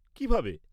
কীভাবে?